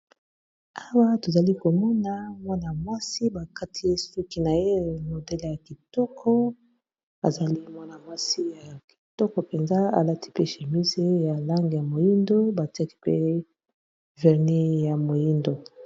Awa tozali komona mwana-mwasi bakati ye suki na ye modele ya kitoko azali mwana-mwasi ya kitoko mpenza alati pe chémise ya langi ya moyindo batiaki pe verni ya moyindo.